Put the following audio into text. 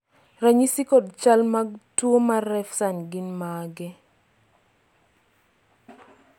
ranyisi kod chal mag tuo mar Refsum gin mage?